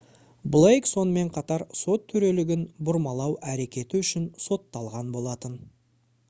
блейк сонымен қатар сот төрелігін бұрмалау әрекеті үшін сотталған болатын